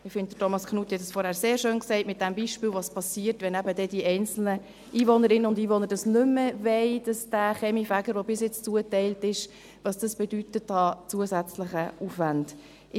Ich finde, Thomas Knutti hat es vorhin schön gesagt – mit dem Beispiel, was geschieht, wenn die einzelnen Einwohnerinnen und Einwohner nicht mehr den Kaminfeger wollen, der ihnen bisher zugeteilt wurde –, was es an zusätzlichen Aufwänden bedeutet.